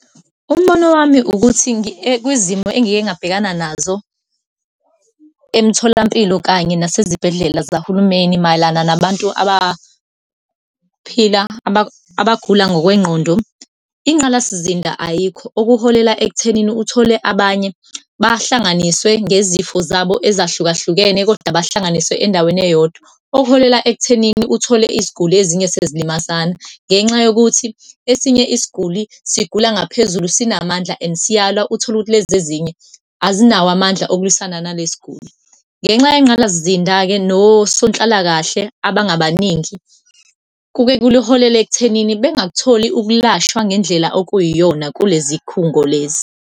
Umbono wami ukuthi, kwizimo engike ngabhekana nazo emtholampilo kanye nasezibhedlela zahulumeni mayelana nabantu abaphila, abagula ngokwengqondo, inqalasizinda ayikho. Okuholela ekuthenini uthole abanye bahlanganiswe ngezifo zabo ezahlukahlukene kodwa bahlanganiswe endaweni eyodwa, okuholela ekuthenini uthole iziguli ezinye sezilimazana. Ngenxa yokuthi esinye isiguli sigula ngaphezulu, sinamandla and siyalwa, utholukuthi lezezinye azinawo amandla okulwisana nalesiguli. Ngenxa yengqalazinda-ke nosanhlalakahle abangabaningi, kuke kuliholele ekuthenini bengakutholi ukulashwa ngendlela okuyiyona kulezi khungo lezi.